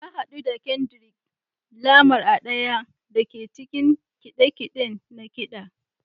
Na hadu da Kendrick Lamar a ɗaya daga cikin kide-kide na ƙida.